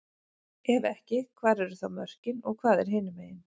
Ef ekki, hvar eru þá mörkin og hvað er hinumegin?